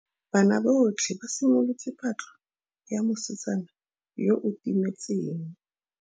Banna botlhê ba simolotse patlô ya mosetsana yo o timetseng.